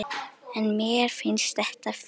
En mér finnst þetta fínt.